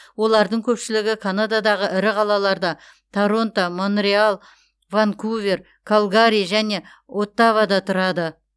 олардың көпшілігі канададағы ірі қалаларда торонто монреаль ванкувер калгари және оттавада тұрады